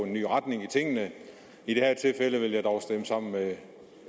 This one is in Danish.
en ny retning i tingene i det her tilfælde vil jeg dog stemme sammen med